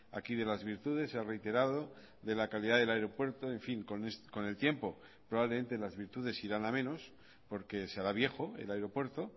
aquí de las virtudes se ha reiterado de la calidad del aeropuerto en fin con el tiempo probablemente las virtudes irán a menos porque se hará viejo el aeropuerto